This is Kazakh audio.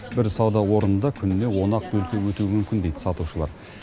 бір сауда орнында күніне он ақ бөлке өтуі мүмкін дейді сатушылар